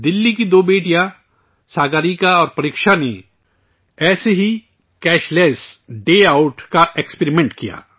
دہلی کی دو بیٹیاں، ساگریکا اور پریکشا نے ایسے ہی کیش لیس ڈے آؤٹ کا تجربہ کیا